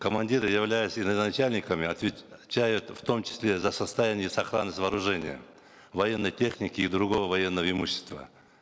командиры являются и начальниками отвечают в том числе за состояние и сохранность вооружения военной техники и другого военного имущества